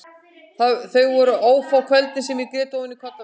Þau voru ófá kvöldin sem ég grét ofan í koddann minn.